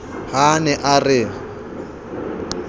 ha a ne a re